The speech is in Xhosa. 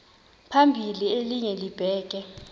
phambili elinye libheke